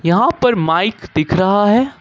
यहां पर माइक दिख रहा है।